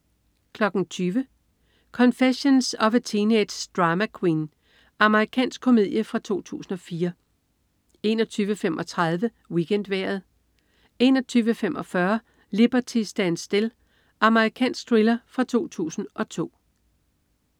20.00 Confessions of a Teenage Drama Queen. Amerikansk komedie fra 2004 21.35 WeekendVejret 21.45 Liberty Stands Still. Amerikansk thriller fra 2002